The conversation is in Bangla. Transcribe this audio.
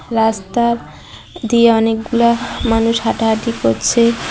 রাস্তার দিয়ে অনেকগুলা মানুষ হাঁটাহাঁটি করছে।